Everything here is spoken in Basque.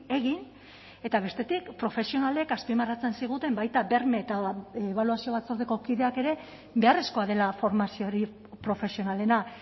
egin eta bestetik profesionalek azpimarratzen ziguten baita berme eta ebaluazio batzordeko kideak ere beharrezkoa dela formazio hori profesionalena